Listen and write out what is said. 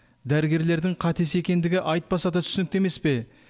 дәрігерлердің қатесі екендігі айтпаса да түсінікті емес пе